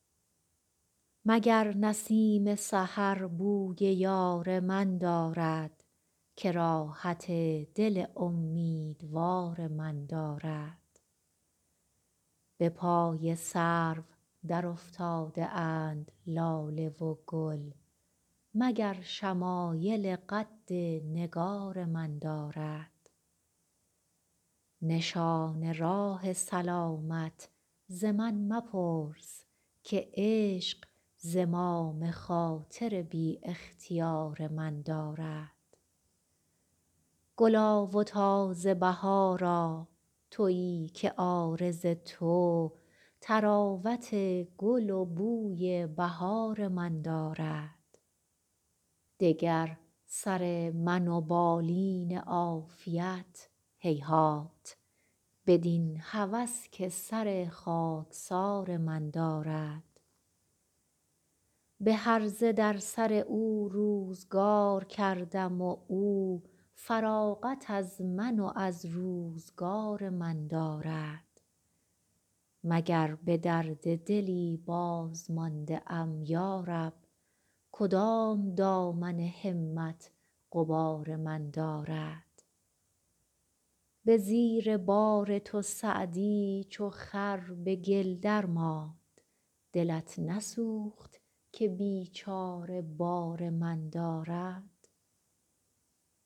مگر نسیم سحر بوی یار من دارد که راحت دل امیدوار من دارد به پای سرو درافتاده اند لاله و گل مگر شمایل قد نگار من دارد نشان راه سلامت ز من مپرس که عشق زمام خاطر بی اختیار من دارد گلا و تازه بهارا تویی که عارض تو طراوت گل و بوی بهار من دارد دگر سر من و بالین عافیت هیهات بدین هوس که سر خاکسار من دارد به هرزه در سر او روزگار کردم و او فراغت از من و از روزگار من دارد مگر به درد دلی بازمانده ام یا رب کدام دامن همت غبار من دارد به زیر بار تو سعدی چو خر به گل درماند دلت نسوخت که بیچاره بار من دارد